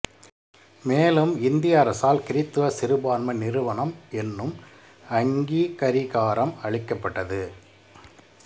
மேலும் இந்திய அரசால் கிருத்துவ சிறுபான்மை நிறுவனம் என்னும் அங்கீகரிகாரம் அளிக்கப்பட்டது